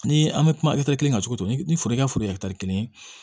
Ni an bɛ kuma kelen kan cogo o cogo ni foro ka foro ye kelen ye